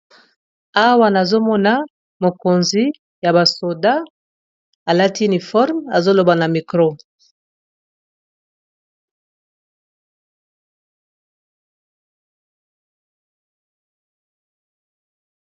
Awa nazomona mokonzi ya ba soldat alati uniforme, azoloba na micro.